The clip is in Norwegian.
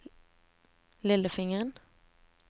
lillefingeren